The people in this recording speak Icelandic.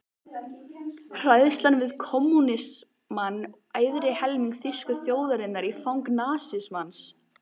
Hræðslan við kommúnismann ærði helming þýsku þjóðarinnar í fang nasismans.